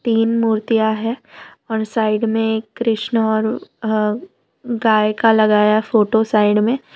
तीन मूर्तियां हैं और साइड में एक कृष्ण और अ गाय का लगाया फोटो साइड में--